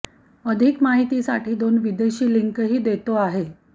अधिक माहिती साठी दोन विदेशी लिंक ही देतो आहे